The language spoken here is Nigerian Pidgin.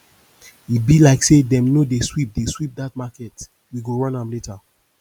e be like say dem no dey sweep dey sweep dat market we go run am later